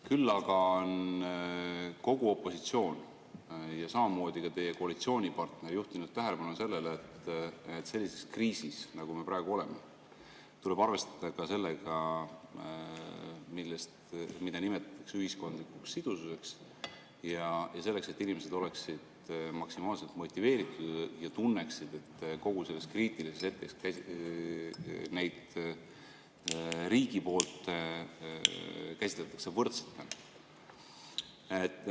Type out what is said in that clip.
Küll aga on kogu opositsioon ja samamoodi ka teie koalitsioonipartner juhtinud tähelepanu sellele, et sellises kriisis, nagu me praegu oleme, tuleb arvestada sellega, mida nimetatakse ühiskondlikuks sidususeks, selleks et inimesed oleksid maksimaalselt motiveeritud ja tunneksid, et selles kriitilises hetkes neid riigi poolt käsitletakse võrdsetena.